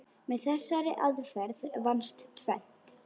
Með þessari aðferð vannst tvennt.